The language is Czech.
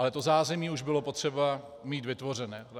Ale to zázemí už bylo potřeba mít vytvořené.